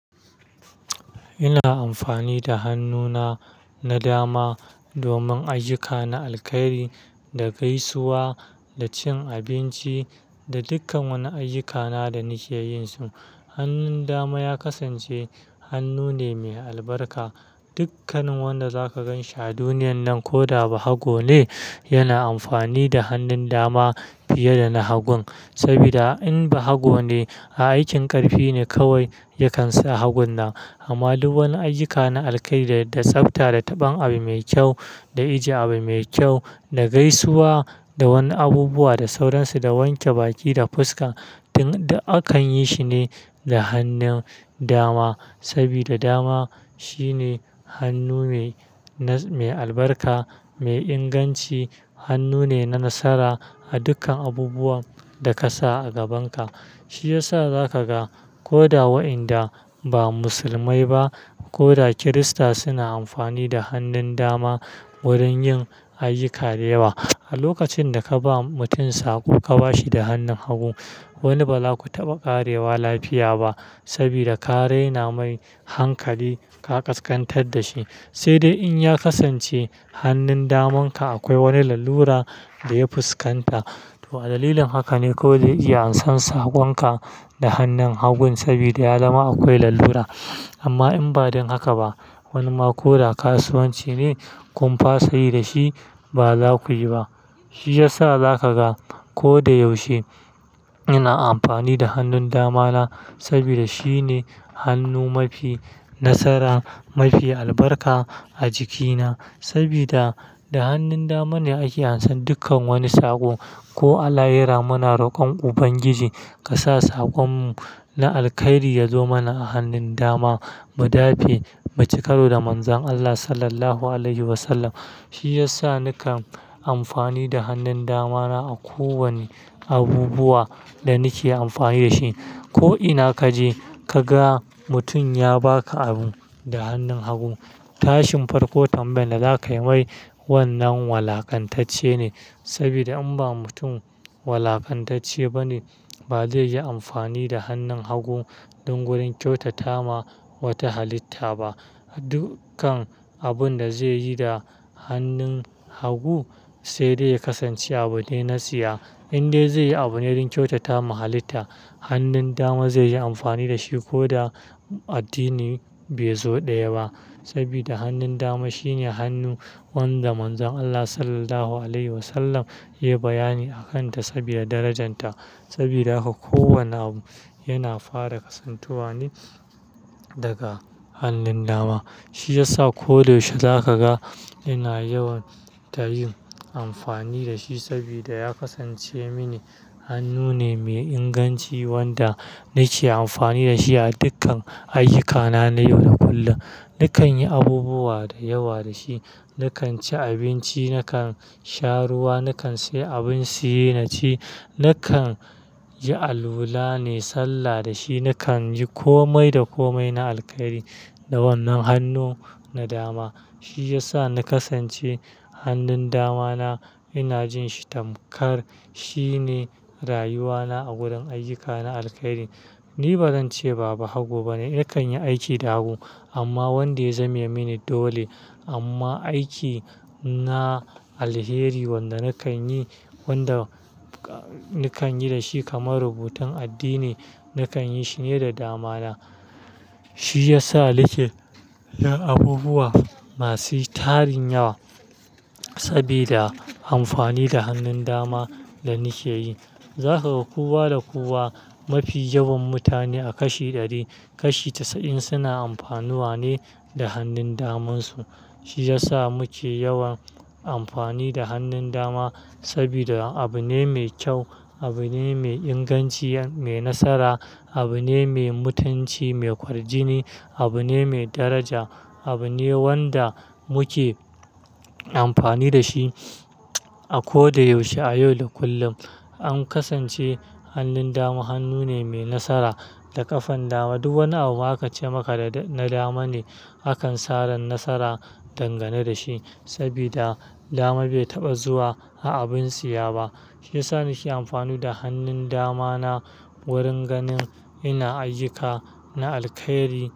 Ina amfani da hannuna na dama domin ayuka na alkhairi, da gaisuwa, da cin abinci da dukkan wani ayuka na da nake yinsu. Hannun dama ya kasance hannu ne mai albarka. Dukkanin wanda zaka gan shi a duniyan nan ko da ba hago ne, yana amfani da hannun dama fiye da na hagun. Saboda in ba hago ne, a aikin ƙarfi ne kawai ya kan sa hagon nan. Amma duk wani ayuka na alkhairi da tsafta, da taɓan abu mai kyau, da ijiye abu mai kyau, da gaisuwa da wani abubuwa, da sauransu, da wanke baki da fuska, duk a akan yi shi ne da hannun dama. Sabida dama shi ne hannu mai na-- mai albarka, mai inganci, hannu ne na nasara a dukkan abubuwan da ka sa a gabanka. Shi ya sa za ka ga ko da wa'inda ba musulmai ba ko da kirista suna amfani da hannun dama wurin yin ayuka dayawa. A lokacin da ka ba mutum sako ka ba shi da hannun hagu, wani ba za ku taɓa ƙarewa lafiya ba saboda ka raina mai hankali ka ƙasƙantar da shi. Sai dai in ya kasance hannun damanka akwai wani lalura da ya fuskanta. To a dalilin haka ne ko zai iya an san sakonka da hannun hagun sabida ya zama akwai lalura. Amma in ba don haka ba, wani ma ko da kasuwanci ne kun fasa yi da shi ba za ku yi ba. Shi ya sa za ka ga ko da yaushe ina amfani da hannun damana saboda shi ne hannu mafi nasara, mafi albarka a jikina. Saboda da hannun dama ne ake an san dukkan wani sako. Ko Allah yara muna rokon Ubangiji ka sa sakonmu na alkhairi ya zo mana a hannun dama mu dafe bacikaro da manzan Allah Sallallahu Alaihi Wasallam. Shi ya sa nakan amfani da hannun damana a ko wane abubuwa da nake amfani da shi. Ko ina kaje ka ga mutum ya baka abu da hannun hagu, tashin farko tambayan da zakayi mai wannan walakantacce ne. Sabida in ba mutum walakantacce ba ne, ba zai yi amfani da hannun hagu don wurin kyautata ma wata halitta ba. Dukkan abun da zai yi da hannun hagu sai dai ya kasance abu de na siya. In dai zai yi abu ne don kyautata ma halitta, hannun dama zai yi amfani da shi ko da addini bai zo daya ba. Saboda hannun dama shi ne hannu wanda manzan Allah Sallallahu Alaihi Wasallam ya yi bayani a kanta saboda darajarta. Saboda haka ko wane abu yana fara kasantuwa ne daga hannun dama. Shi ya sa ko da yaushe za ka ga ina yawan ta yin amfani da shi saboda ya kasance mini hannu ne mai inganci wanda nake amfani da shi a dukkan ayuka na, na yau da kullum. Nakan yi abubuwa da yawa da shi. Nakan ci abinci, nakan sha ruwa, nakan siye abin siye na ci, nakan yi alula nayi sallah da shi, nakan yi komai da komai na alkhairi da wannan hannu na dama. Shi ya sa na kasance hannun damana ina jin shi tamkar shi ne rayuwana a gurin ayuka na alkhairi. Ni ba zan ce ba hagu ba ne, nakan yi aiki da hagu amma wanda ya zame mini dole. Amma aiki na alheri wanda nakan yi, wanda nakan yi da shi kamar rubutun addini, nakan yi shi ne da dama na. Shi ya sa nike yin abubuwa masu tarin yawa saboda amfani da hannun dama da nake yi. Za ka ga kuwa da kuwa mafi yawan mutane a kashi ɗari, kashi tasa'in suna amfanuwa ne da hannun daman su. Shi ya sa muke yawan amfani da hannun dama sabida abu ne mai kyau, abu ne mai inganci, mai nasara, abu ne mai mutunci, mai kwarjini, abu ne mai daraja, abu ne wanda muke amfani da shi a ko da yaushe, a yau da kullum. An kasance hannun dama hannu ne mai nasara. Da ƙafan dama, duk wani abu aka ce maka da na dama ne, akan saran nasara dangane da shi saboda dama bai taɓa zuwa a abin tsiya ba. Shi ya sa nake amfani da hannun damana wurin ganin ina ayuka na alkhairi.